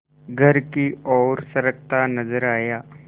घर की ओर सरकता नजर आया